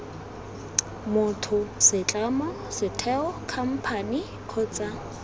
motho setlamo setheo khamphane kgotsa